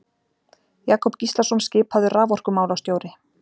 Jakob Gíslason skipaður raforkumálastjóri.